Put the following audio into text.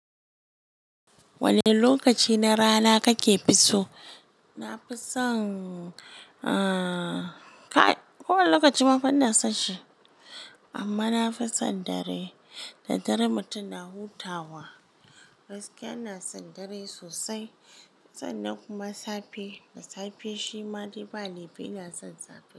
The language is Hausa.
Wane lokaci na rana kake fi so? Na fi son, ah, kai ko wane lokaci ma fa ina son shi. Amma na fi son dare, da dare mutum na hutawa. Gaskiya ina son dare sosai. Sannan kuma safe, da safe shima dai ba laifi ina son safe.